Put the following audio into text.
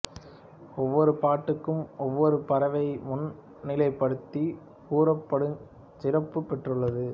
ஒவ்வொரு பாட்டுக்கும் ஒவ்வொரு பறவையை முன்னிலைப்படுத்திக் கூறப்படுஞ் சிறப்பு பெற்றுள்ளது